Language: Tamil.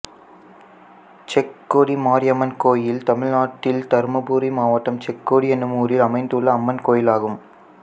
செக்கோடி மாரியம்மன் கோயில் தமிழ்நாட்டில் தர்மபுரி மாவட்டம் செக்கோடி என்னும் ஊரில் அமைந்துள்ள அம்மன் கோயிலாகும்